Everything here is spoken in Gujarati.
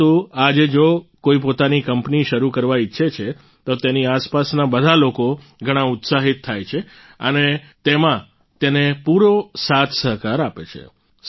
પરંતુ આજે જો કોઈ પોતાની કંપની શરૂ કરવા ઈચ્છે છે તો તેની આસપાસના બધા લોકો ઘણા ઉત્સાહિત થાય છે અને તેમાં તેને પૂરો સાથસહકાર આપે છે